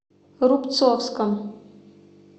рубцовском